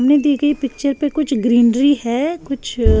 सामने दी गयी पिक्चर में कुछ ग्रीनरी है कुछ--